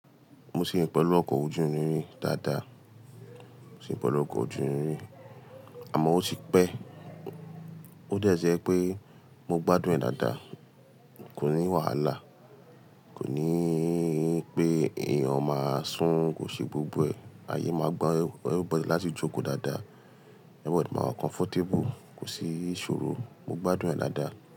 Mo ṣèyìn pẹ̀lú ọkọ̀ ojú irin dáadáa, ṣèyìn pẹ̀lú ọkọ̀ ojú irin, àmọ́ ó ti pẹ́. Ó dà jẹ pé mo gbádùn ẹ̀ dáadáa, kò ní wàhálà, kò ní pé èèyàn máa sún, kò ṣe gbogbo ẹ̀, ààyè máa gbọ́n, everybody láti jókòó dáadáa, everybody máa comfortable, kò sí ìṣòro, mo gbádùn ẹ̀ dáadáa.